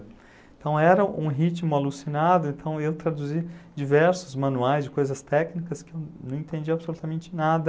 Então era um ritmo alucinado, então eu traduzia diversos manuais de coisas técnicas que eu não entendia absolutamente nada.